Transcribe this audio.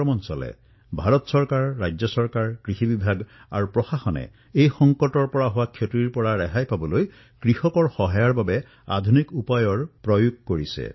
ভাৰত চৰকাৰেই হওক ৰাজ্য চৰকাৰেই হওক অথবা কৃষি বিভাগেই হওক প্ৰশাসনেও এই সংকটৰ লোকচানৰ পৰা ৰক্ষা পৰিবলৈ কৃষকসকলক সহায়ৰ বাবে আধুনিক সংসাধনৰো ব্যৱহাৰ কৰিছে